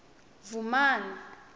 vhumani